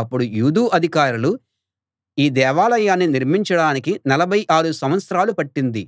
అప్పుడు యూదు అధికారులు ఈ దేవాలయాన్ని నిర్మించడానికి నలభై ఆరు సంవత్సరాలు పట్టింది